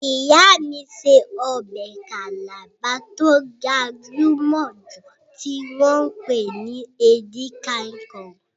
Ìyá mí ṣe ọbẹ̀ Calabar tó gbajúmọ̀ jù tí wọ́n pè ní Edika-ikong